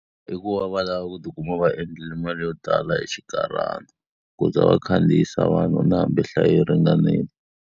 I ku va va lava ku tikuma va endlile mali yo tala hi xinkarhana. Ku za va khandziyisa vanhu na hambi nhlayo yi ringanile.